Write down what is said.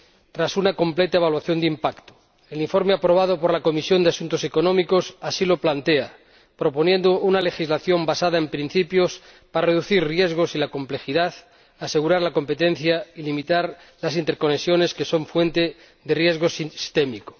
Tras una completa evaluación de impacto, el informe aprobado por la Comisión de Asuntos Económicos así lo plantea, proponiendo una legislación basada en principios para reducir riesgos y la complejidad, asegurar la competencia y limitar las interconexiones que son fuente de riesgo sistémico.